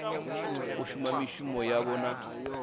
u shuma mishumo yavho na